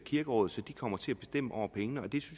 kirkeråd så de kommer til at bestemme over pengene og det